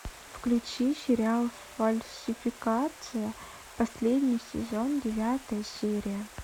включи сериал фальсификация последний сезон девятая серия